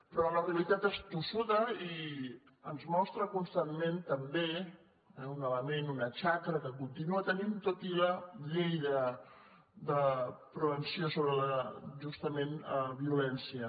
però la realitat és tossuda i ens mostra constantment també un element una xacra que continua tenint tot i la llei de prevenció sobre justament la violència